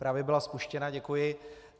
Právě byla spuštěna, děkuji.